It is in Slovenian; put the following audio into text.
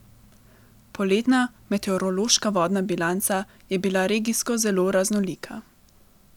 Poletna meteorološka vodna bilanca je bila regijsko zelo raznolika.